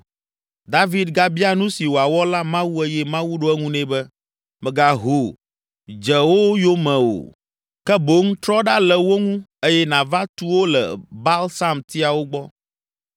David gabia nu si wòawɔ la Mawu eye Mawu ɖo eŋu nɛ be, “Mègaho dze wo yome me o, ke boŋ trɔ ɖa le wo ŋu eye nàva tu wo le balsamtiawo gbɔ.